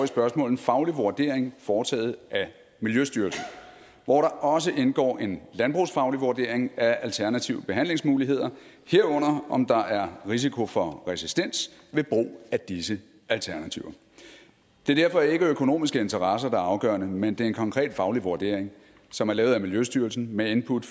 spørgsmål en faglig vurdering foretaget af miljøstyrelsen hvor der også indgår en landbrugsfaglig vurdering af alternative behandlingsmuligheder herunder om der er risiko for resistens ved brug af disse alternativer det er derfor ikke økonomiske interesser der er afgørende men det er en konkret faglig vurdering som er lavet af miljøstyrelsen med input